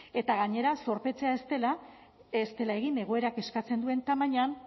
eta gainera zorpetzea ez dela egin egoerak eskatzen duen tamainan